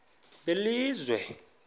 belizwe